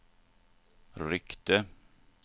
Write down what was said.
ryckte